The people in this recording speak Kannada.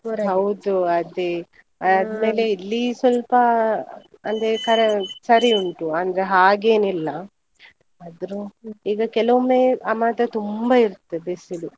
ಅದೇ ಇಲ್ಲಿ ಸ್ವಲ್ಪ ಅಂದ್ರೆ ಕರೆ ಸರಿ ಉಂಟು ಅಂದ್ರೆ ಹಾಗೇನಿಲ್ಲಾ ಆದ್ರೂ ಈಗ ಕೆಲವೊಮ್ಮೆ ಆ ಮಾತ್ರ ತುಂಬಾ ಇರುತ್ತೆ ಬಿಸಿಲು.